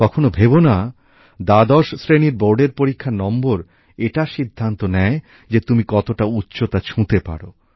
কখনো ভেবো না দ্বাদশ শ্রেণীর বোর্ডের পরীক্ষার নম্বর এটা সিদ্ধান্ত নেয় যে তুমি কতটা উচ্চতা ছুঁতে পারো